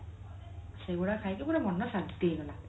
ସେଇଗୁଡା ଖାଇକି ପୁରା ମନ ଶାନ୍ତି ହେଇଗଲା